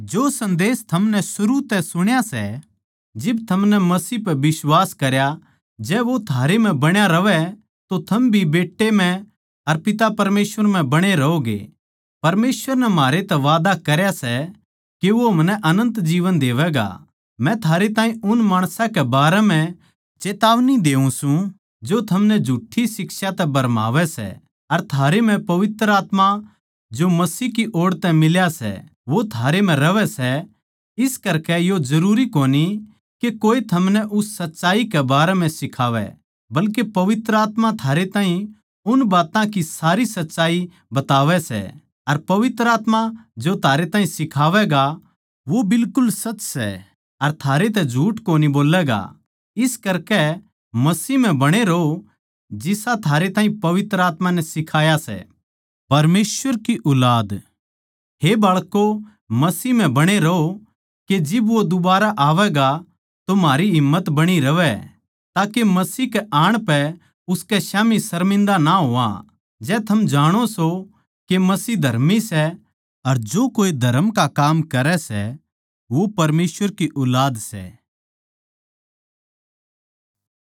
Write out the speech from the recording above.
जै थम जाणो सों के मसीह धर्मी सै अर जो कोए धरम का काम करै सै वो परमेसवर की ऊलाद सै